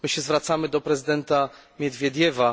My się zwracamy do prezydenta Miedwiediewa.